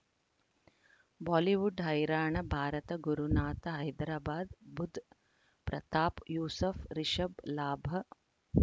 Bollywood ಹೈರಾಣ ಭಾರತ ಗುರುನಾಥ ಹೈದರಾಬಾದ್ ಬುಧ್ ಪ್ರತಾಪ್ ಯೂಸುಫ್ ರಿಷಬ್ ಲಾಭ